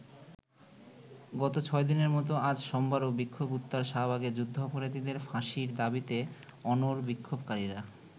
গত ছয়দিনের মতো আজ সোমবারও বিক্ষোভে উত্তাল শাহবাগে যুদ্ধাপরাধীদের ফাঁসির দাবিতে অনড় বিক্ষোভকারীরা।